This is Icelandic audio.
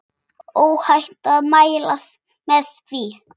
Óhætt að mæla með því.